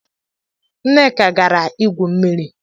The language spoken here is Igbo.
Nneka gara igwu mmiri.